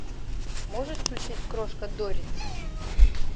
можешь включить крошка доррит